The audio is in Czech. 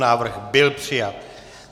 Návrh byl přijat.